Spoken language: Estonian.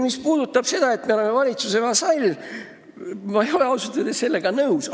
Mis puudutab seda väidet, et me oleme valitsuse vasall, siis ma ei ole sellega ausalt öeldes nõus.